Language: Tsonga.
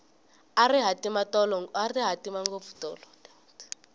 a ri hatima ngopfu tolo